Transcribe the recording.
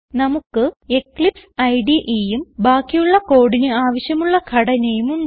നമുക്ക് എക്ലിപ്സ് IDEയും ബാക്കിയുള്ള കോഡിന് ആവശ്യമുള്ള ഘടനയും ഉണ്ട്